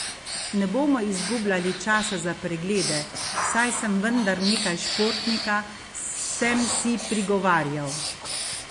Ne bomo izgubljali časa za preglede, saj sem vendar nekaj športnika, sem si prigovarjal.